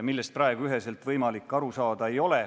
Praegu neist üheselt võimalik aru saada ei ole.